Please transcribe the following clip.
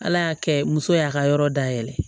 Ala y'a kɛ muso y'a ka yɔrɔ dayɛlɛ